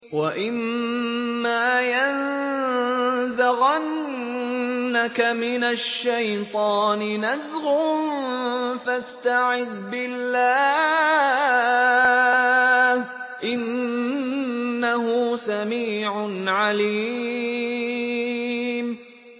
وَإِمَّا يَنزَغَنَّكَ مِنَ الشَّيْطَانِ نَزْغٌ فَاسْتَعِذْ بِاللَّهِ ۚ إِنَّهُ سَمِيعٌ عَلِيمٌ